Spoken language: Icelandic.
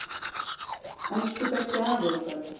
Elsku besti afi okkar.